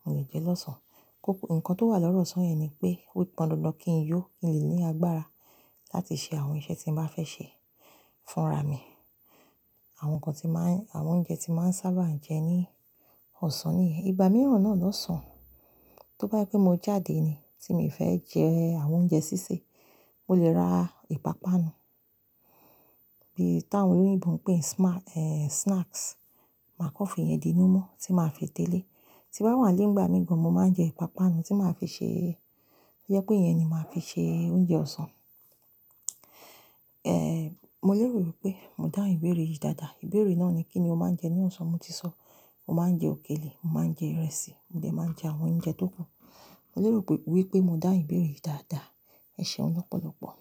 mo lè jẹ lọ́sán. Ko, nǹkan tó wà lọ́rọ̀ ọ̀sán yẹn ni pé ó pọn dandan kí n yó, kí n lè ní agbára láti ṣe àwọn iṣẹ́ tí mo bá fẹ́ ṣe fúnra mi. Àwọn ǹkan tí máa ń, àwọn oúnjẹ tí máa ń sábà jẹ ní ọ̀sán nìyẹn. Ìgbà mìíràn náà lọ́sán, tó bá yé pé mo jáde ni tí mo fẹ́ jẹ àwọn oúnjẹ sísè, mo lè ra ìpápánu bí i táwọn olóyìnbo ń pè ẹ́ snacks, macaroni yẹn dínú mú tí màá fi tẹ́lẹ̀. Tí bá wà lẹ́gbàá mi gan, mo máa ń jẹ ìpápánu tí màá fi ṣe, jẹ́ pé ìyẹn ni màá fi ṣe oúnjẹ ọ̀sán. Ẹ̀ẹ̀, mo lè rò pé mo dá ìbéèrè yìí dáadáa. Ìbéèrè náà ni kí ni o máa ń jẹ ní ọ̀sán? Mo ti sọ, mo máa ń jẹ òkèlè, mo máa ń jẹ ìrẹsì, mo jẹ máa ń jẹ àwọn oúnjẹ tó gùn. Mo lè rò wípé mo dá ìbéèrè yìí dáadáa. Ẹ̀ṣẹ̀ ọ lọ́pọ̀lọ́pọ̀.